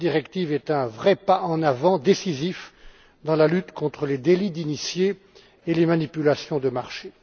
Cette directive est un vrai pas en avant décisif dans les luttes contre les délits d'initiés et les manipulations de marchés.